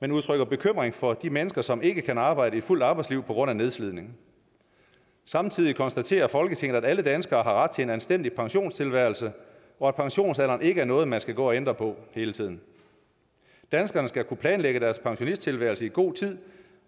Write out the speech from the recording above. men udtrykker bekymring for de mennesker som ikke kan arbejde et fuldt arbejdsliv på grund af nedslidning samtidig konstaterer folketinget at alle danskere har ret til en anstændig pensionstilværelse og at pensionsalderen ikke er noget man skal gå og ændre på hele tiden danskerne skal kunne planlægge deres pensionstilværelse i god tid